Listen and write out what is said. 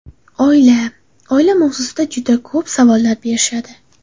Oila Oila mavzusida juda ko‘p savollar berishadi.